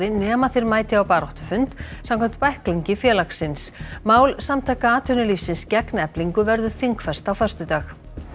nema þeir mæti á baráttufund samkvæmt bæklingi félagsins mál Samtaka atvinnulífsins gegn Eflingu verður þingfest á föstudag